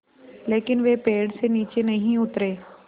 लेकिन वे पेड़ से नीचे नहीं उतरे